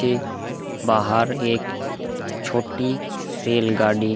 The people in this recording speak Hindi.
के बाहर एक छोटी रेलगाड़ी --